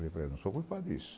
Eu falei, eu não sou culpado disso.